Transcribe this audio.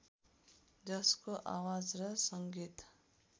जसको आवाज र सङ्गीत